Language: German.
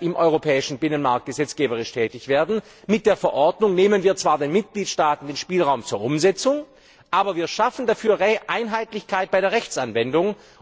im europäischen Binnenmarkt gesetzgeberisch tätig werden nehmen wir zwar den Mitgliedstaaten den Spielraum zur Umsetzung, aber wir schaffen dafür Einheitlichkeit bei der Rechtsanwendung.